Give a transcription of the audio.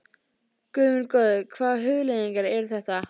Guð minn góður, hvaða hugleiðingar eru þetta,?